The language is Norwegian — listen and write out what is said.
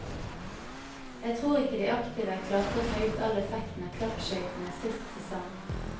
Jeg tror ikke de aktive klarte å ta ut all effekten av klappskøytene sist sesong.